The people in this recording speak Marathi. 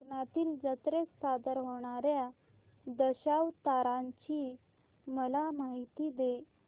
कोकणातील जत्रेत सादर होणार्या दशावताराची मला माहिती दे